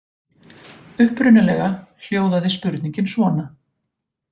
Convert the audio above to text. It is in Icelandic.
Upprunalega hljóðaði spurningin svona: